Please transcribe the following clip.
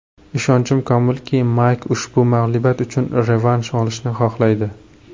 Ishonchim komilki, Mayk ushbu mag‘lubiyat uchun revansh olishni xohlaydi.